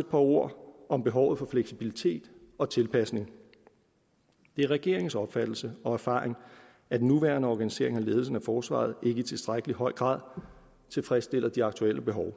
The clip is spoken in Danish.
et par ord om behovet for fleksibilitet og tilpasning det er regeringens opfattelse og erfaring at den nuværende organisering af ledelsen af forsvaret ikke i tilstrækkelig høj grad tilfredsstiller de aktuelle behov